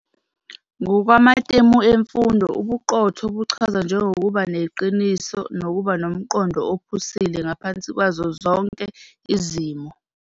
Ngokwamatemu emfundo ubuqotho buchazwa njengokuba neqiniso nokuba nomqondo ophusile ngaphansi kwazo zonke izimo.